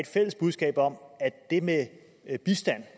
fælles budskab om at det med bistand